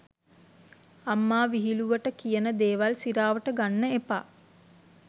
අම්මා විහිලුවට කියන දේවල් සිරාවට ගන්න එපා.